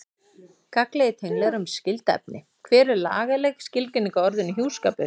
Gagnlegir tenglar um skyld efni Hver er lagaleg skilgreining á orðinu hjúskapur?